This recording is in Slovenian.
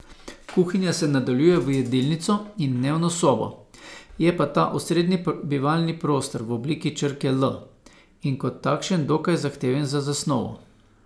Kuhinja se nadaljuje v jedilnico in dnevno sobo, je pa ta osrednji bivalni prostor v obliki črke L in kot takšen dokaj zahteven za zasnovo.